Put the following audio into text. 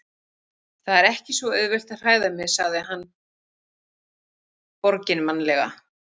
Það er ekki svo auðvelt að hræða mig- sagði hann borginmannlega.